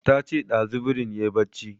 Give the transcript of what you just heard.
Ta ce ɗazu birin yayi barci